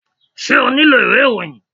Ṣé o nílò ìwé ìròyìn?